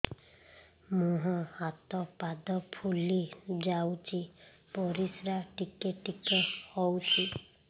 ମୁହଁ ହାତ ପାଦ ଫୁଲି ଯାଉଛି ପରିସ୍ରା ଟିକେ ଟିକେ ହଉଛି